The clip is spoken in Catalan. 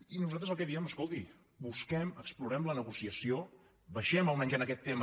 i nosaltres el que diem escolti busquem explorem la negociació baixem almenys en aquest tema